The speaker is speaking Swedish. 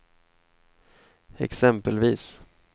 exempelvis